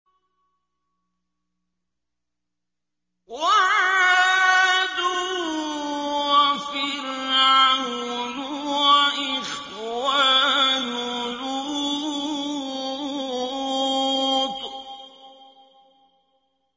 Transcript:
وَعَادٌ وَفِرْعَوْنُ وَإِخْوَانُ لُوطٍ